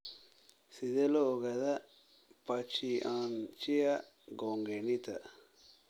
Sidee loo ogaadaa pachyonychia congenita?